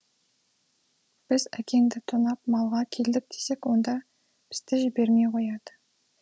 біз әкеңді тонап малға келдік десек онда бізді жібермей қояды